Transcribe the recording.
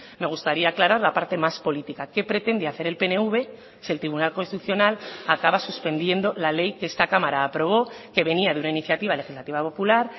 me gustaría aclarar la parte más política qué pretende hacer el pnv si el tribunal constitucional acaba suspendiendo la ley que esta cámara aprobó que venía de una iniciativa legislativa popular